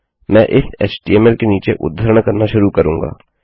मैं इस एचटीएमएल के नीचे उद्धरण करना शुरू करुँगा